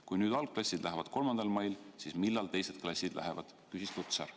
"Kui nüüd algklassid lähevad 3. mail, siis millal teised klassid lähevad?" küsis Lutsar.